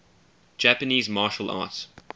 japanese martial arts